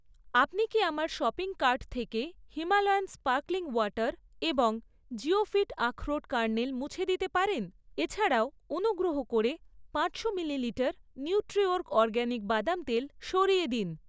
আপনি কি আমার শপিং কার্ট থেকে হিমালয়ান স্পার্কলিং ওয়াটার এবং জিওফিট আখরোট কার্নেল মুছে দিতে পারেন? এছাড়াও, অনুগ্রহ করে পাঁচশো মিলিলিটার নিউট্রিওর্গ অরগ্যানিক বাদাম তেল সরিয়ে দিন।